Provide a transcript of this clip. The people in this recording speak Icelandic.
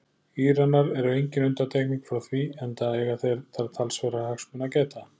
Íranar eru engin undantekning frá því enda eiga þeir þar talsverðra hagsmuna að gæta.